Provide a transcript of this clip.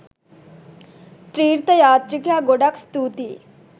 තීර්ථ යාත්‍රිකයා ගොඩක් ස්තුතියි